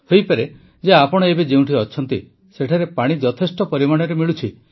ହୋଇପାରେ ଯେ ଆପଣ ଏବେ ଯେଉଁଠି ଅଛନ୍ତି ସେଠାରେ ପାଣି ଯଥେଷ୍ଟ ପରିମାଣରେ ମିଳୁଛି